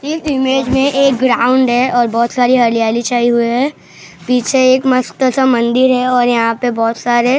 इस इमेज में एक ग्राउंड है और बहुत सारी हरियाली छाई हुए है पीछे एक मस्त सा मंदिर है और यहां पे बहुत सारे --